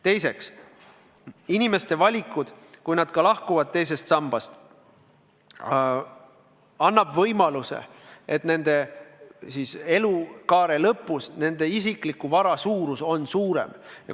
Teiseks, kui inimesed valivadki teisest sambast lahkumise, annab see võimaluse, et nende elukaare lõpus nende isikliku vara suurus on suurem.